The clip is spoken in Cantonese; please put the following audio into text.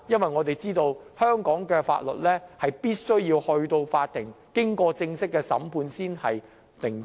眾所周知，根據香港法律，任何案件必須經法庭正式審判才算定罪。